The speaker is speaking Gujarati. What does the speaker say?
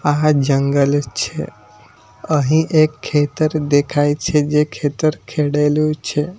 આહા જંગલ છે અહીં એક ખેતર દેખાય છે જે ખેતર ખેડેલું છે.